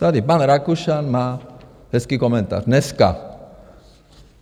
Tady pan Rakušan má hezký komentář dneska.